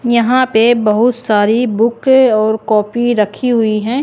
यहां पे बहुत सारी बुक और कॉपी रखी हुई हैं।